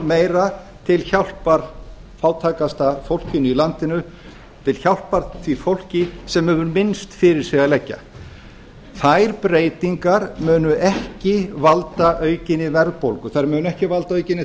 meira til hjálpar fátækasta fólkinu í landinu til hjálpar því fólki sem hefur minnst fyrir sig að leggja þær breytingar munu ekki valda aukinni verðbólgu þær munu ekki valda aukinni